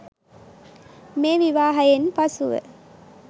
මේ විවාහයෙන් පසුව